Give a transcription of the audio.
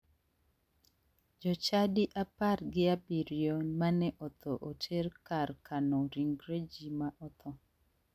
Jochadi apar gi abiriyo mane otho oter kar kano ringre ji ma otho.